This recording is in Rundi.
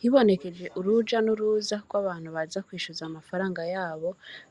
Hibonekeje uruja n’uruza rw’abantu, baza kwishuza amafranga yabo,